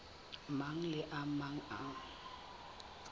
mang le a mang a